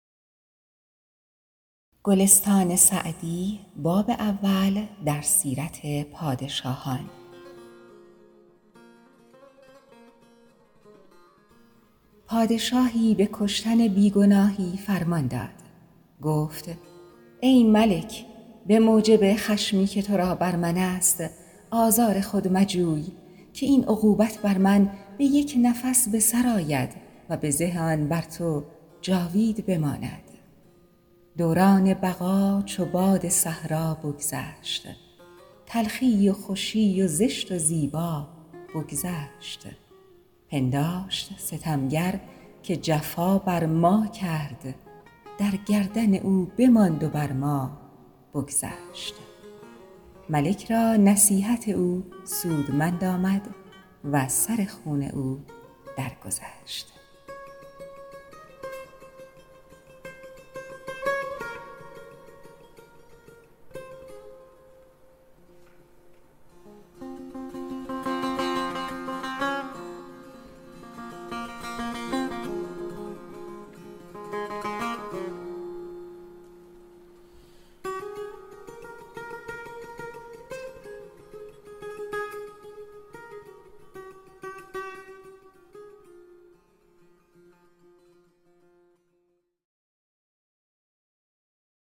پادشاهی به کشتن بی گناهی فرمان داد گفت ای ملک به موجب خشمی که تو را بر من است آزار خود مجوی که این عقوبت بر من به یک نفس به سر آید و بزه آن بر تو جاوید بماند دوران بقا چو باد صحرا بگذشت تلخی و خوشی و زشت و زیبا بگذشت پنداشت ستمگر که جفا بر ما کرد در گردن او بماند و بر ما بگذشت ملک را نصیحت او سودمند آمد و از سر خون او در گذشت